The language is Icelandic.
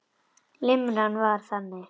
Limran var þannig: